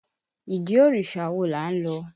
Ìdí òrìṣà wo là ń lọ?